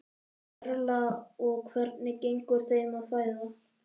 Erla: Og hvernig gengur þeim að fæða?